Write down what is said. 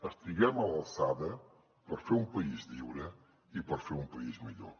estiguem a l’alçada per fer un país lliure i per fer un país millor